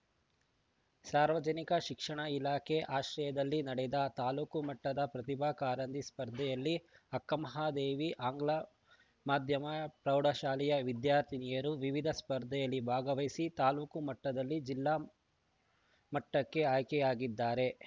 ಸಾರ್ವಜನಿಕ ಶಿಕ್ಷಣ ಇಲಾಖೆ ಆಶ್ರಯದಲ್ಲಿ ನಡೆದ ತಾಲುಕು ಮಟ್ಟದ ಪ್ರತಿಭಾ ಕಾರಂಜಿ ಸ್ಪರ್ಧೆಯಲ್ಲಿ ಅಕ್ಕಮಹಾದೇವಿ ಆಂಗ್ಲಮಾಧ್ಯಮ ಪ್ರೌಢಶಾಲೆ ವಿದ್ಯಾರ್ಥಿನಿಯರು ವಿವಿಧ ಸ್ಪರ್ಧೆಯಲ್ಲಿ ಭಾಗವಹಿಸಿ ತಾಲೂಕು ಮಟ್ಟದಿಂದ ಜಿಲ್ಲಾ ಮಟ್ಟಕ್ಕೆ ಆಯ್ಕೆಯಾಗಿದ್ದಾರೆ